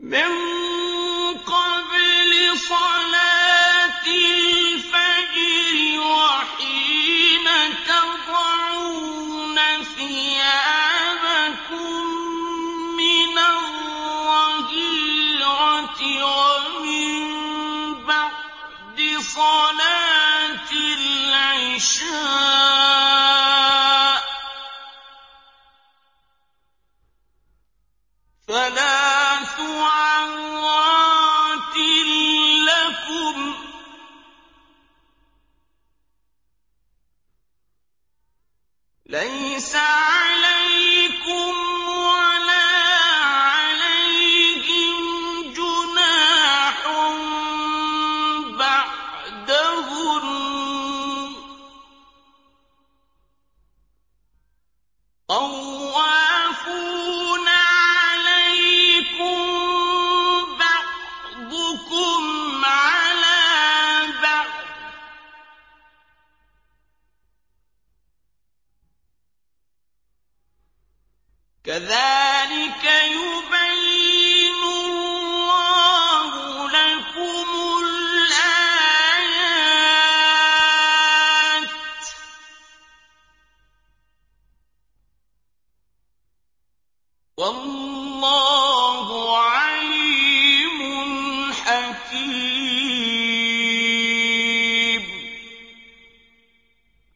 مِّن قَبْلِ صَلَاةِ الْفَجْرِ وَحِينَ تَضَعُونَ ثِيَابَكُم مِّنَ الظَّهِيرَةِ وَمِن بَعْدِ صَلَاةِ الْعِشَاءِ ۚ ثَلَاثُ عَوْرَاتٍ لَّكُمْ ۚ لَيْسَ عَلَيْكُمْ وَلَا عَلَيْهِمْ جُنَاحٌ بَعْدَهُنَّ ۚ طَوَّافُونَ عَلَيْكُم بَعْضُكُمْ عَلَىٰ بَعْضٍ ۚ كَذَٰلِكَ يُبَيِّنُ اللَّهُ لَكُمُ الْآيَاتِ ۗ وَاللَّهُ عَلِيمٌ حَكِيمٌ